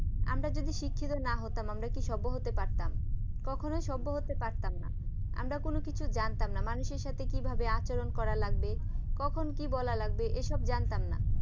আমরা যদি শিক্ষিত না হতাম আমরা কি সভ্য হতে পারতাম কখনোই সভ্য হতে পারতাম না আমরা কোন কিছুই জানতাম না মানুষের সাথে কিভাবে আচরণ করা লাগবে কখন কি বলা লাগবে এসব জানতাম না।